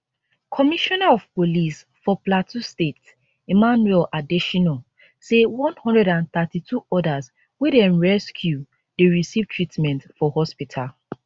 commissioner of police for plateau state emmanuel adesina say 132 odas wey dem rescue dey receive treatment for hospital